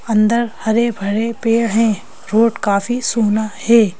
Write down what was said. अंदर हरे-भरे पेड़ हैं रोड काफी सुना है।